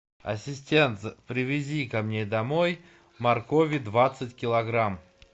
ассистент привези ко мне домой моркови двадцать килограмм